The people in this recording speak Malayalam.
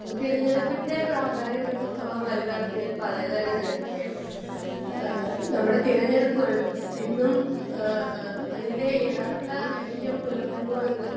സ്പീക്കർ 1 തിരഞ്ഞെടുപ്പിൻ്റെ പ്രാധാന്യമെത്രത്തോളം വലുതാണെന്ന് ഞാൻ പറയാതെ തന്നെ നിങ്ങൾക്ക് അറിയാമല്ലോ.ആഹ് നമ്മടെ തിരഞ്ഞെടുപ്പുകൾ എന്നും ആഹ് അതിൻ്റെ യഥാർത്ഥ ലക്ഷ്യം പുലർത്തുന്നു എന്ന്